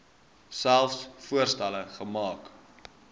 selfs voorstelle maak